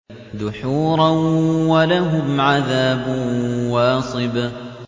دُحُورًا ۖ وَلَهُمْ عَذَابٌ وَاصِبٌ